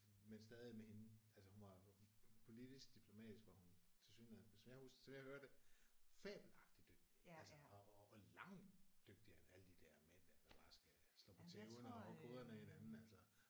Men stadig med hende altså hun var jo politisk diplomatisk var hun tilsyneladende som kan huske som jeg hører det fabelagtigt dygtig altså og og langt dygtigere end alle de der mænd der bare skal slå på tæven og hugge hovederne af hinanden altså